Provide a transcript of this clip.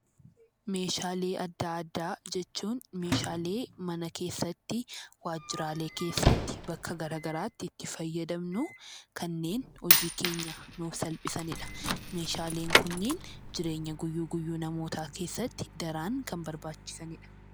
Meeshaalee adda addaa jechuun meeshaalee mana keessatti, waajjiraalee keessatti, bakka garagaraatti itti fayyadamnu kanneen hojii keenya nuuf salphisani dha. Meeshaaleen kunniin jireenya guyyuu guyyuu namootaa keessatti daran kan barbaachisani dha.